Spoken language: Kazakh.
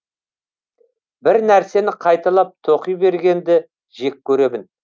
бір нәрсені қайталап тоқи бергенді жек көремін